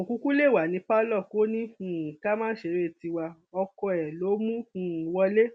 kò kúkú lè wà ní pálọ kò ní um ká má ṣeré tiwa ọkọ ẹ ló mú um wọlé